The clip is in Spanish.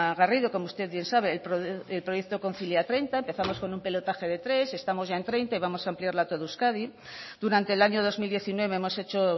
garrido como usted bien sabe el proyecto kontzilia treinta empezamos con un pilotaje de tres estamos ya en treinta y vamos a ampliarla a todo euskadi durante el año dos mil diecinueve hemos hecho